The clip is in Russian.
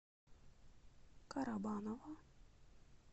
карабаново